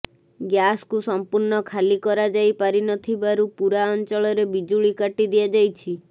ଗ୍ୟାସକୁ ସଂପୂର୍ଣ୍ଣ ଖାଲି କରାଯାଇ ପାରିନଥିବାରୁ ପୁରା ଅଂଚଳରେ ବିଜୁଳି କାଟି ଦିଆଯାଇଛି